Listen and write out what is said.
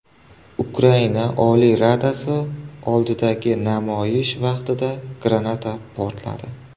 Ukraina Oliy Radasi oldidagi namoyish vaqtida granata portladi.